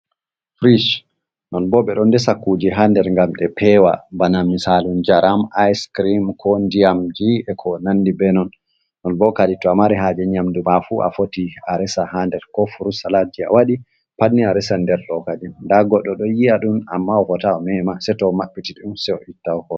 Frich non bo ɓe ɗon desa kuje ha nder ngam ɗe pewa bana misalu jaram ice screm, ko diamgie, ko nandi be non, non bo kadin to a mari haje nyamdu mafu a foti a resa ha nder, ko furu salat ji a waɗi pat ni a resa nder kadin, nda goɗɗo ɗo yi'a ɗum amma o fotai o mema sei to maɓɓiti ɗum se o itta.